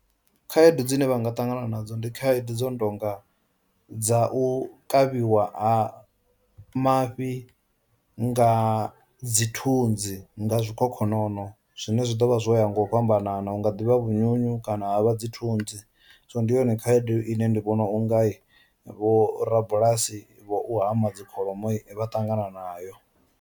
Khaedu dzine vha nga ṱangana nadzo ndi khaedu dzo no tonga dza u kavhiwa ha mafhi nga dzi thunzi, nga zwikhokhonono zwine zwi ḓo vha zwo ya ngo u fhambanana unga ḓivha vhunyunyu kana vha dzi thunzi, so ndi yone khaedu ine ndi vhona u nga vho rabulasi vho u hama dzi kholomo vha ṱangana nayo.